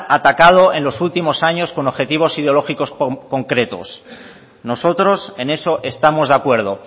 atacado en los últimos años con objetivos ideológicos concretos nosotros en eso estamos de acuerdo